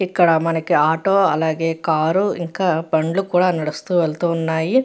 ఇక్కడ మనకి ఆటో అలాగే కారు ఇంకా బండ్లు కూడా నడుస్తూ వెళ్తూ ఉన్నాయి.